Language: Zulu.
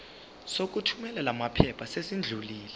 sokuthumela lamaphepha sesidlulile